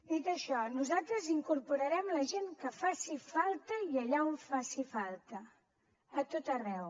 dit això nosaltres incorporarem la gent que faci falta i allà on faci falta a tot arreu